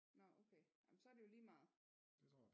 Nåh okay men så er det jo lige meget